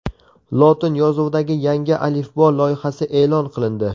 Lotin yozuvidagi yangi alifbo loyihasi e’lon qilindi.